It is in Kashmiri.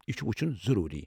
یہ چھُ وُچھُن ضروٗری۔